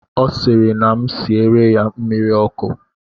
ọ sịrị na m siere ya mmiri ọkụ